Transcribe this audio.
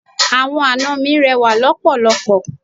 Àwọn ana mi rẹwà lọpọlọpọ.